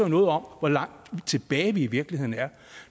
noget om hvor langt tilbage vi i virkeligheden er